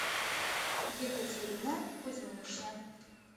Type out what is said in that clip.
екатерина кузьминична